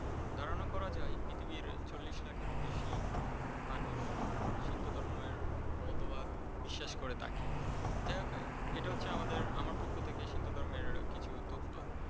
ধারণা করা যায় পৃথিবীর চল্লিশ লাখেরও বেশি মানুষ সিন্ত ধর্মের মতবাদ বিশ্বাস করে থাকে। যাই হোক এটা হচ্ছে আমাদের আমার পক্ষ থেকে সিন্ত ধর্মের কিছু তথ্য।